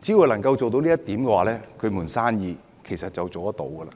只要做到這一點，一盤生意就可以維持。